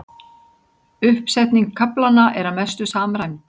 Uppsetning kaflanna er að mestu samræmd